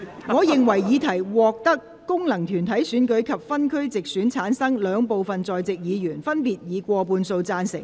我認為議題獲得經由功能團體選舉產生及分區直接選舉產生的兩部分在席議員，分別以過半數贊成。